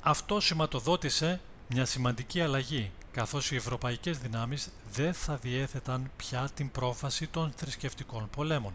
αυτό σηματοδότησε μια σημαντική αλλαγή καθώς οι ευρωπαϊκές δυνάμεις δεν θα διέθεταν πια την πρόφαση των θρησκευτικών πολέμων